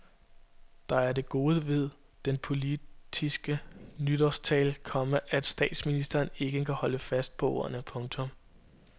Der er det gode ved den politiske nytårstale, komma at statsministeren kan holdes fast på ordene. punktum